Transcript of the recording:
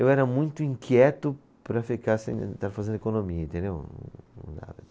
Eu era muito inquieto para ficar estar fazendo economia, entendeu? Não dava